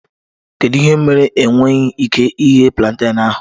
Kedu ihe mere ị nweghị ike ighe plantain ahụ?